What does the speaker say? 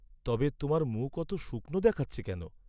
তবে তোমার মুখ অত শুকনো দেখাচ্ছে কেন?